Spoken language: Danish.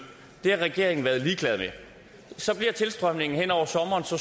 det har regeringen været ligeglad med så bliver tilstrømningen hen over sommeren så